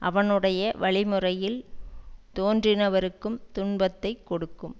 அவனுடைய வழி முறையில் தோன்றினவருக்கும் துன்பத்தை கொடுக்கும்